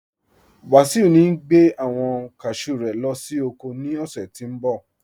Wasiu ní gbẹ̀ awọn káshú rẹ̀ lọ sí oko ní ọṣẹ̀ tí ń bọ̀.